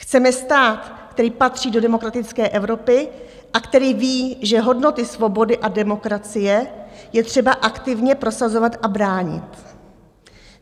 Chceme stát, který patří do demokratické Evropy a který ví, že hodnoty svobody a demokracie je třeba aktivně prosazovat a bránit.